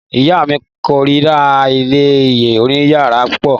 Ìyá mi kórira ilé oníyàwó púpọ̀.